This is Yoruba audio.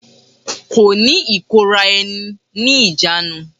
Kò ní ìkóra ẹni ní ìjánu.